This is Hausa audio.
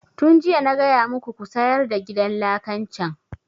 Tun jiya na gaya muku ku sayar da gidan lakan can!